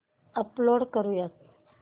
upload करुयात